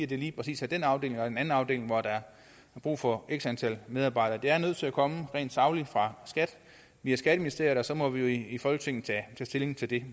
det lige præcis er den afdeling og en anden afdeling hvor der er brug for x antal medarbejdere det er nødt til at komme rent sagligt fra skat via skatteministeriet og så må vi jo i folketinget tage stilling til det